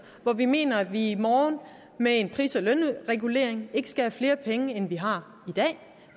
hvor vi mener at vi i morgen med en pris og lønregulering ikke skal have flere penge end vi har i dag